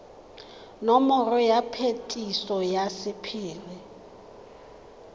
nomoro ya phetiso ya sephiri